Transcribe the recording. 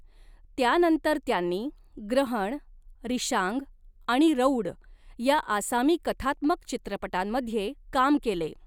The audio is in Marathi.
त्यानंतर त्यांनी 'ग्रहण', 'रिशांग' आणि 'रौड' या आसामी कथात्मक चित्रपटांमध्ये काम केले.